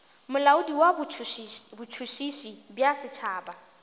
molaodi wa botšhotšhisi bja setšhaba